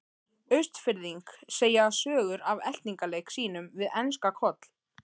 Austfirðing segja sögur af eltingaleik sínum við enska Koll.